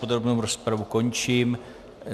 Podrobnou rozpravu končím.